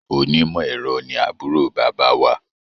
Onímọ̀-ẹ̀rọ ni àbúrò bàbá wa.